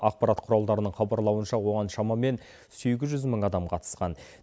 ақпарат құралдарының хабарлауынша оған шамамен сегіз жүз мың адам қатысқан